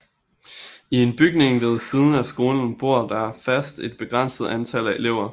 I en bygning ved siden af skolen bor der fast et begrænset antal elever